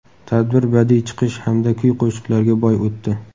Tadbir badiiy chiqish hamda kuy-qo‘shiqlarga boy o‘tdi.